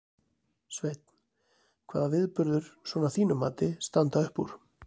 Sveinn: Hvaða viðburðir, svona að þínu mati, standa upp úr?